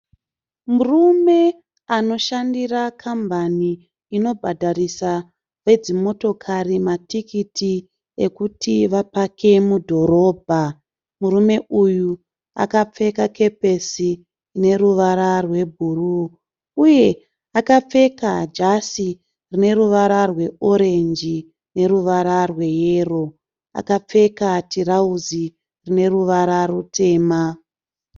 Murume anoshandira kambani inobhadharisa vedzimotokari matikiti ekuti vapake mudhorobha, murume uyu akapfeka kepesi neruvara rwebhuruu uye akapfeka jasi rine ruvara rweorenji neruvara rweyero, akapfeka tirauzi rine ruvara rutema.